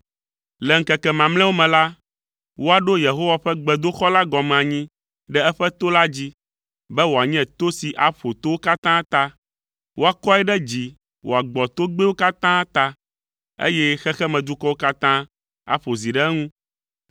Le ŋkeke mamlɛawo me la, woaɖo Yehowa ƒe gbedoxɔ la gɔme anyi ɖe eƒe to la dzi, be wòanye to si aƒo towo katã ta, woakɔe ɖe dzi wòagbɔ togbɛwo katã ta, eye xexemedukɔwo katã aƒo zi ɖe eŋu.